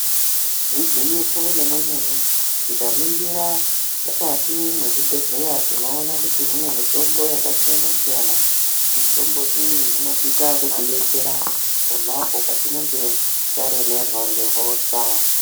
Igwinyiso remenemene tikaningira mukati mwezvibhehlera tinoona kut mune mitombo yakasiyana siyana. Mitombo iyi inosisa kutidetsera pona apo patinenge taremerwa ngehosha